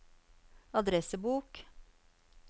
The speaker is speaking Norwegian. adressebok